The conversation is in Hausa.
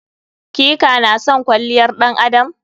Ki/ka na son kwalliyar ɗan adam?